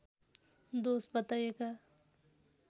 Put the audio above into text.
दोष बताइएका